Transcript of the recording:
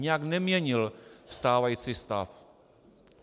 Nijak neměnil stávající stav.